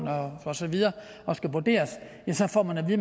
og så videre og skal vurderes at så får man at